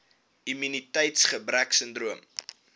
immuniteits gebrek sindroom